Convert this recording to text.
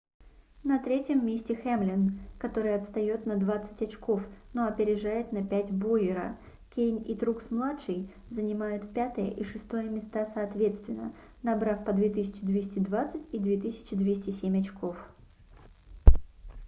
на 3-м месте хэмлин который отстает на двадцать очков но опережает на пять бойера кейн и трукс-младший занимают 5-е и 6-е места соответственно набрав по 2220 и 2207 очков